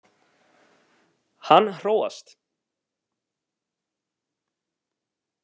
Hann róast.